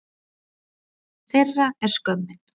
Þeirra er skömmin.